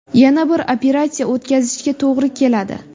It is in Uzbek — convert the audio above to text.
Yana bir operatsiya o‘tkazishga to‘g‘ri keladi.